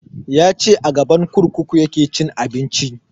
Ya ce a gaban kurkuku ya ke cin abinci